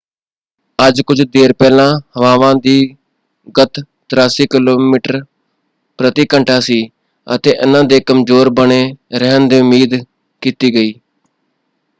ਅੱਜ ਕੁੱਝ ਦੇਰ ਪਹਿਲਾਂ ਹਵਾਵਾਂ ਦੀ ਗਤਿ 83 ਕਿਮੀ/ਘੰਟਾ ਸੀ ਅਤੇ ਇਹਨਾਂ ਦੇ ਕਮਜ਼ੋਰ ਬਣੇ ਰਹਿਣ ਦੀ ਉਮੀਦ ਕੀਤੀ ਗਈ।